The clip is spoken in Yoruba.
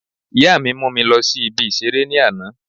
Ìyá mi mú mi lọ sí ibi ìseré ní àná